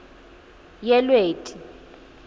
yelweti